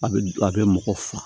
A bɛ a bɛ mɔgɔ faga